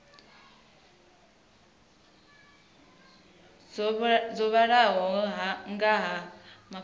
dzo vhalaho nga ha mafhungo